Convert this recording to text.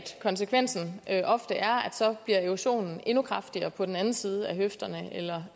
konsekvensen ofte er at erosionen endnu kraftigere på den anden side af høfderne eller